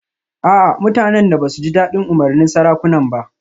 A'a mutanen da ba su ji dadin umarnin sarakunan ba